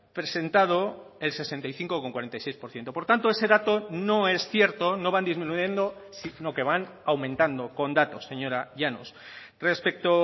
presentado el sesenta y cinco coma cuarenta y seis por ciento por tanto ese dato no es cierto no van disminuyendo sino que van aumentando con datos señora llanos respecto